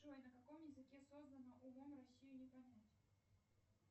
джой на каком языке создано умом россию не понять